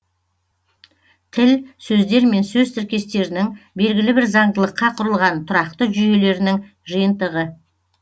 тіл сөздер мен сөз тіркестерінің белгілі бір заңдылыққа құрылған тұрақты жүйелерінің жиынтығы